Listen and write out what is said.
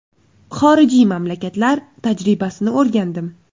Xorijiy mamlakatlar tajribasini o‘rgandim.